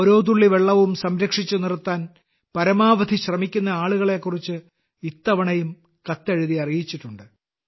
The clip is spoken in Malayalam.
ഓരോ തുള്ളി വെള്ളവും സംരക്ഷിച്ചു നിർത്താൻ പരമാവധി ശ്രമിക്കുന്ന ആളുകളെ കുറിച്ച് ഇത്തവണയും കത്തെഴുതി അറിയിച്ചിട്ടുണ്ട്